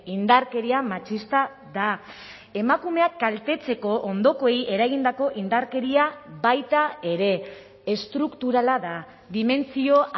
indarkeria matxista da emakumeak kaltetzeko ondokoei eragindako indarkeria baita ere estrukturala da dimentsio